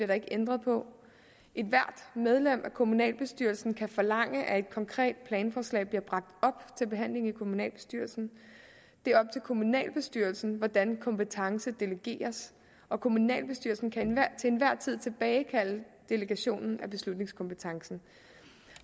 der ikke ændret på ethvert medlem af kommunalbestyrelsen kan forlange at et konkret planforslag bliver bragt op til behandling i kommunalbestyrelsen det er op til kommunalbestyrelsen hvordan kompetence delegeres og kommunalbestyrelsen kan til enhver tid tilbagekalde delegationen af beslutningskompetencen